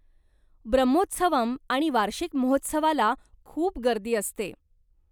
ब्रह्मोत्सवम आणि वार्षिक महोत्सवाला खूप गर्दी असते.